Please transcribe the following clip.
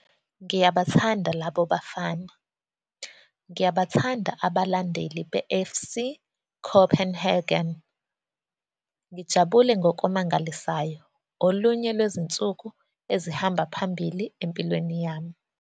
Ngiyabathanda labo bafana. Ngiyabathanda abalandeli beFC Copenhagen. Ngijabule ngokumangalisayo. Olunye lwezinsuku ezihamba phambili empilweni yami".